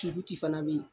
fana bɛ yen